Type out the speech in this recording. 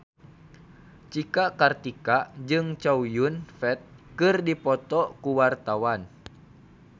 Cika Kartika jeung Chow Yun Fat keur dipoto ku wartawan